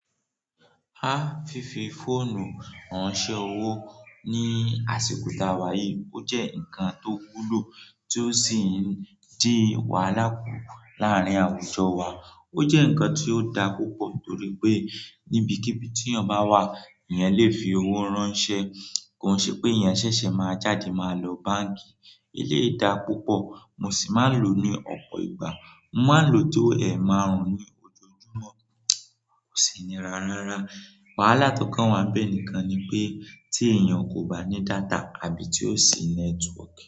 Á, fífi fóònù ránṣẹ́ owó ni àsìkò tàwà yìí ó jẹ́ ǹkan tó wúlò tí ó sì ń dín wàhálà kù láàrin àwùjọ wa. Ó jẹ́ ǹkan tí ó da púpọ̀ torí pé níbi kíbi tí ènìyàn bá wà, ìyẹn lè fi owó ránṣẹ́. Kò ṣe pé ìyẹn ṣẹ̀ṣẹ̀ máa jáde máa lọ báǹkì. Ilé dá púpọ̀, mo sì máa ń lò ní ọ̀pọ̀ ìgbà. Mo máa ń lò ó tó ẹ̀ márùn-ún ní ojojúmọ́, kò sì níra rárá. Wàhálà tó kàn wá bẹ́ẹ̀ nìkan ni pé tí ènìyàn kò bá ní data àbí tí ó sì network.